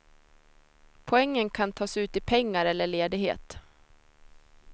Poängen kan tas ut i pengar eller ledighet.